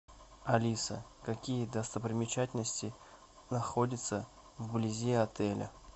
алиса какие достопримечательности находятся вблизи отеля